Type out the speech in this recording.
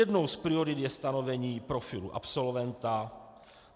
Jednou z priorit je stanovení profilu absolventa.